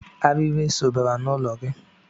Arịrị eso bara n'ụlọ gị.